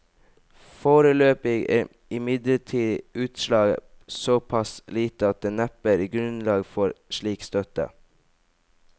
Foreløpig er imidlertid utslaget så pass lite at det neppe er grunnlag for slik støtte.